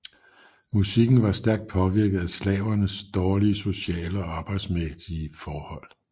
Musikken var stærkt påvirket af slavernes dårlige sociale og arbejdsmæssige forhold